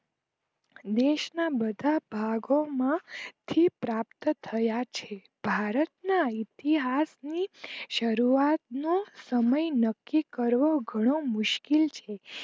દેશ ના બધા ભાગો માં થી પ્રાપ્ત થયા છે ભારત ના ઈતિહાસ્સ ની શરૂઆત નો સમય નક્કી કરવો ઘણો મુશ્કિલ છે